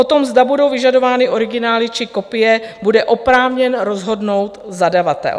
O tom, zda budou vyžadovány originály, či kopie, bude oprávněn rozhodnout zadavatel.